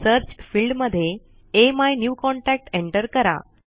search field मध्ये अमिन्यूकॉन्टॅक्ट enter करा